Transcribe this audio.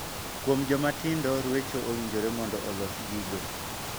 Kuom joma tindo ruecho owinjore mondo olos gi go.